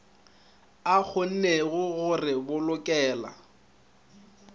a kgonnego go re bolokela